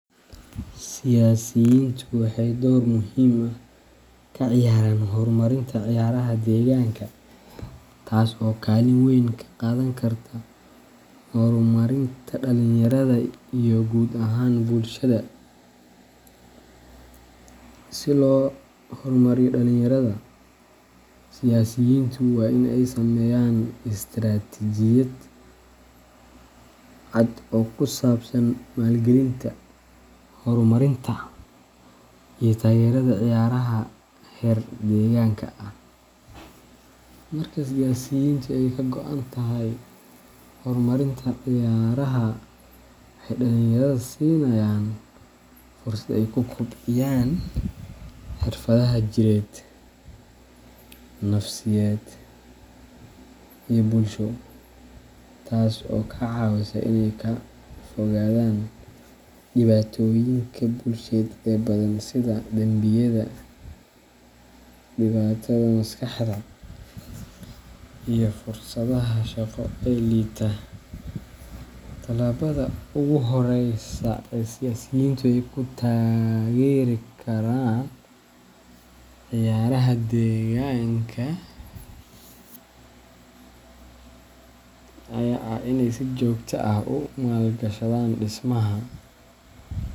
Siyasiyiintu waxay door muhiim ah ka ciyaaraan horumarinta ciyaaraha deegaanka, taas oo kaalin weyn ka qaadan karta horumarinta dhalinyarada iyo guud ahaan bulshada. Si loo hormariyo dhalinyarada, siyasiyiintu waa in ay sameeyaan istaraatiijiyad cad oo ku saabsan maalgelinta, horumarinta, iyo taageerada ciyaaraha heer deegaanka ah. Marka siyaasiyiintu ay ka go'an tahay horumarinta ciyaaraha, waxay dhalinyarada siinayaan fursad ay ku kobciyaan xirfadaha jireed, nafsiyadeed, iyo bulsho, taas oo ka caawineysa inay ka fogaadaan dhibaatooyinka bulsheed ee badan sida dambiyada, dhibaatada maskaxda, iyo fursadaha shaqo ee liita. Tallaabada ugu horeysa ee siyaasiyiintu ay ku taageeri karaan ciyaaraha deegaanka ayaa ah in ay si joogto ah ugu maalgashadaan dhismaha.